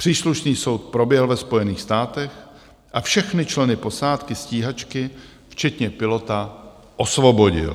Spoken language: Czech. Příslušný soud proběhl ve Spojených státech a všechny členy posádky stíhačky, včetně pilota, osvobodil.